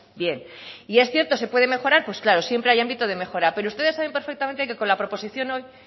bien y es cierto se puede mejorar pues claro siempre hay ámbito de mejora pero ustedes saben perfectamente que con la proposición hoy